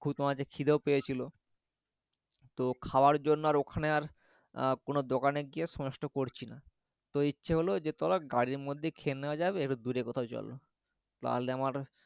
মাঝে খিদেও পেয়েছিল তো খাবার জন্যও আর ওখানে আর আহ কোনো দোকানে গিয়ে আর সময় নষ্ট করছিনা তো ইচ্ছে হল যে চলো গাড়ির মধ্যে খেয়ে নেওয়া যাবে একটু দূরে কথাও চলো তাহলে আমার